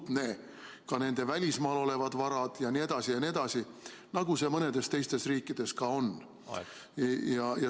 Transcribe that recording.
ka nende välismaal olevaid varasid jne, nagu mõnes teises riigis on.